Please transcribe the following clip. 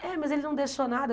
É, mas ele não deixou nada.